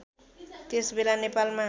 त्यस बेला नेपालमा